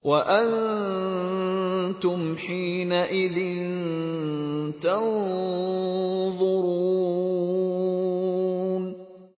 وَأَنتُمْ حِينَئِذٍ تَنظُرُونَ